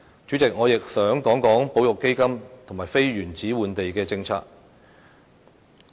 主席，我亦想討論保育基金及非原址換地的政策。